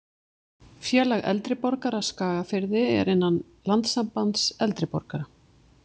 Félag eldri borgara Skagafirði er innan Landssambands eldri borgara.